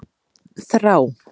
Þrá